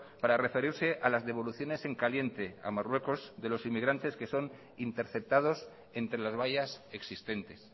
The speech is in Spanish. para referirse a las devoluciones en caliente a marruecos de los inmigrantes que son interceptados entre las vallas existentes